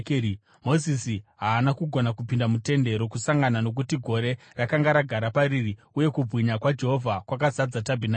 Mozisi haana kugona kupinda muTende Rokusangana nokuti gore rakanga ragara pariri, uye kubwinya kwaJehovha kwakazadza tabhenakeri.